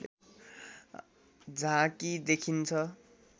झाँकी देखिन्छ